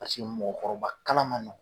Paseke mɔgɔkɔrɔba kalan ma nɔgɔn.